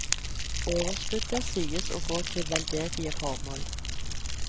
Overskuddet sies å gå til veldedige formål.